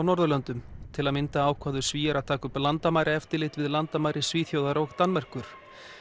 Norðurlöndum til að mynda ákváðu Svíar að taka upp landamæraeftirlit við landamæri Svíþjóðar og Danmerkur